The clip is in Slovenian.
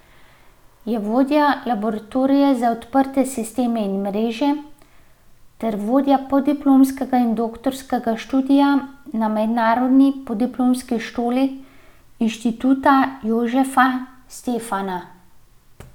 Je vodja Laboratorija za odprte sisteme in mreže ter vodja podiplomskega in doktorskega študija na Mednarodni podiplomski šoli Inštituta Jožefa Stefana.